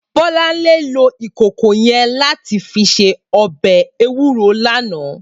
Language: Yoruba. Bolanle ló ikókó yèn làtí fi sé òbè éwúró làná